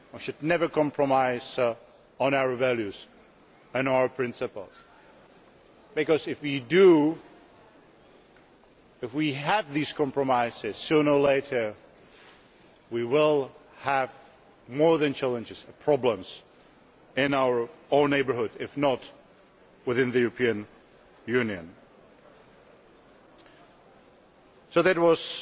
We should never compromise on our values and our principles because, if we do and if we make these compromises, sooner or later we will face more than challenges problems in our own neighbourhood, if not within the European Union. That